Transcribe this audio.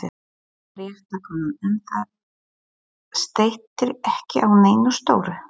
Fréttakona: En það steytir ekki á neinu stóru?